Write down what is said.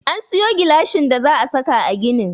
An sayo gilashin da za a saka a ginin.